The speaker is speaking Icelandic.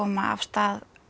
af stað